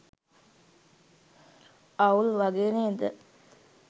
අවුල් වගේ නේද